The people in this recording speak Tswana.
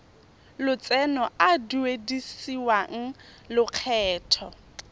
lotseno a a duedisiwang lokgetho